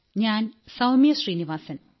ഞാൻ സൌമ്യ ശ്രീനിവാസൻ